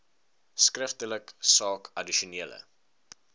skriftelik saak addisionele